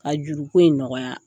A juruko in nɔgɔya